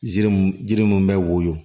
Jiri mun jiri mun bɛ woyo